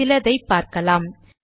சிலதை பார்க்கலாம்